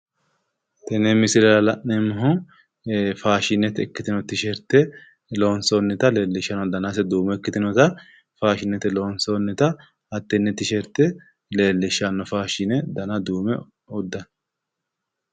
Tene misilera la'neemmohu faashinete ikkitanno tisheerte lonsoonnita lellishshanno danase duume ikkitinota faashinete ikkitinota hattenne leellishshanno dana duume uddano